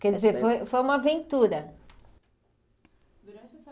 Quer dizer, foi foi uma aventura.